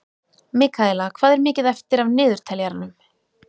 Mikaela, hvað er mikið eftir af niðurteljaranum?